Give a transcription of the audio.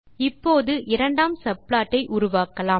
இப்போது இரண்டாம் சப்ளாட் ஐ உருவாக்கலாம்